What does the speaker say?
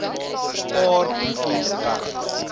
paar broekie weg